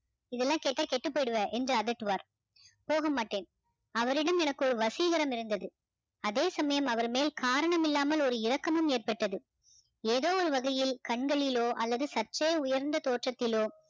இதெல்லாம் கேட்டா கெட்டு போயிடுவ என்று அதட்டுவார் போகமாட்டேன் அவரிடம் எனக்கு ஒரு வசீகரம் இருந்தது அதே சமயம் அவர் மேல் காரணம் இல்லாமல் ஒரு இரக்கமும் ஏற்பட்டது ஏதோ ஒரு வகையில் கண்களிலோ அல்லது சற்றே உயர்ந்த தோற்றத்திலோ